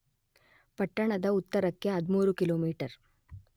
ಪಟ್ಟಣದ ಉತ್ತರಕ್ಕೆ 13 ಕಿಲೊಮೀಟರ್.